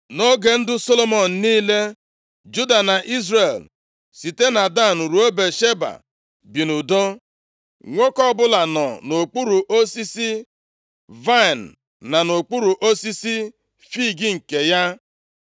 Nʼoge ndụ Solomọn niile, Juda na Izrel site na Dan ruo Bịasheba bi nʼudo. Nwoke ọbụla nọ nʼokpuru osisi vaịnị na nʼokpuru osisi fiig nke ya. + 4:25 Nwoke ọbụla nọ nʼokpuru osisi vaịnị na nʼokpuru osisi fiig nke ya Nke a pụtara nʼezinaụlọ ọbụla, biri nʼudo na nchekwa nʼụlọ ha. \+xt Jer 23:6.\+xt*